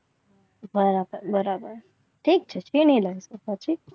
બરાબર બરાબર ઠીક છે. પછી